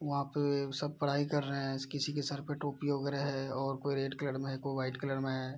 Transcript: वहाँ पे सब पढ़ाई कर रहे हैं किसी के सर पे टोपी वगेरह हैं और कोई रेड कलर में हैं कोई वाइट कलर में हैं।